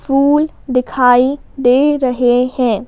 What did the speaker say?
फूल दिखाई दे रहे हैं।